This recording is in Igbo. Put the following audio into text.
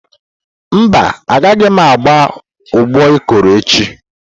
Mba, a gaghị agba ụbọ Ikoro echi.